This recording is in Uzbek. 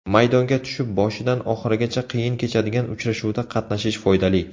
Maydonga tushib, boshidan oxirigacha qiyin kechadigan uchrashuvda qatnashish foydali.